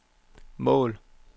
mål